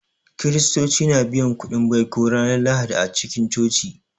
Kiristoci na biyan kuɗin baiko ranar Lahadi a cikin Coci